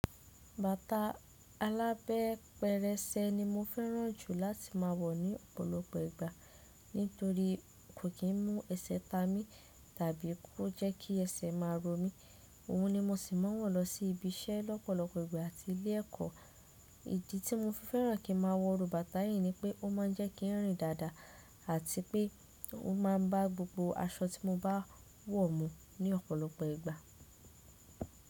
Bàtà alábẹ́ pẹrẹsẹ ni mo fẹ́ràn jù láti máa wọ̀ ní ọ̀pọ̀lọpọ̀ ìgbà nítorí kò kí n mú ẹsẹ̀ ta mi tàbí kó jẹ́ kí ẹsẹ̀ máa ro mi. Òhun ni mo ṣì máa wọ̀ lọ sí ibi iṣẹ́ lọ́pọ̀lọpọ̀ ìgbà àti ilé ẹ̀kọ́. Ìdí tí mo fi fẹ́ràn kí n máa wo ru bàtà yìí ni pé ó máa ń jẹ́ kí n rìn dáadáa àti pé ó máa bá gbogbo aṣọ tí mo bá wọ̀ mú ní ọ̀pọ̀lọpọ̀ ìgbà.